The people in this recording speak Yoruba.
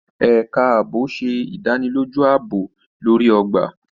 Ẹka ààbò ṣe ìdánilójú aabob lori ogba.